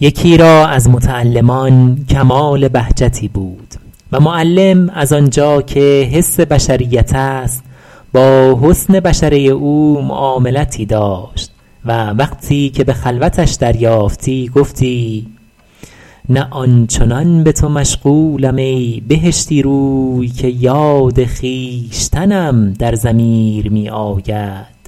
یکی را از متعلمان کمال بهجتی بود و معلم از آن جا که حس بشریت است با حسن بشره او معاملتی داشت و وقتی که به خلوتش دریافتی گفتی نه آن چنان به تو مشغولم ای بهشتی روی که یاد خویشتنم در ضمیر می آید